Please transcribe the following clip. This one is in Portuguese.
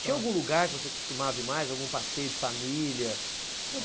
Tinha algum lugar que você costumava ir mais, algum passeio de família?